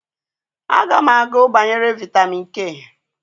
A ga m agu banyere vitamin k